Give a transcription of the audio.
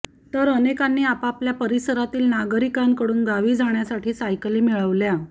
तर अनेकांनी आपापल्या परिसरातील नागरिकांकडून गावी जाण्यासाठी सायकली मिळवल्या